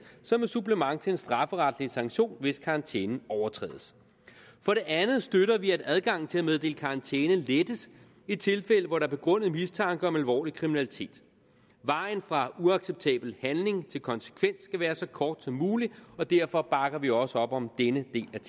som et supplement til en strafferetlig sanktion hvis karantænen overtrædes for det andet støtter vi at adgangen til at meddele karantæne lettes i tilfælde hvor der er begrundet mistanke om alvorlig kriminalitet vejen fra uacceptabel handling til konsekvens skal være så kort som mulig og derfor bakker vi også op om denne del af